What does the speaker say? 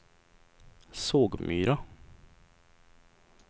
Sågmyra